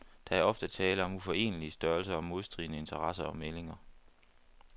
Der er ofte tale om uforenelige størrelser og modstridende interesser og meldinger.